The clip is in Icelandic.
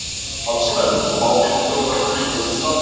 Aðstæður: Smá vindur og völlur í góðu standi.